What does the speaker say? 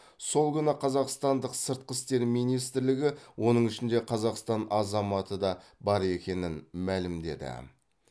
сол күні қазақстандық сыртқы істер министрлігі оның ішінде қазақстан азаматы да бар екенін мәлімдеді